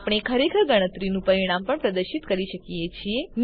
આપણે ખરેખર ગણતરીનું પરિણામ પણ પ્રદર્શિત કરી શકીએ છીએ